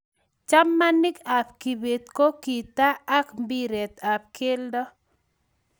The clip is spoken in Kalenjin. chamanik ab kibet ko gitaa ak mbiret ab keldo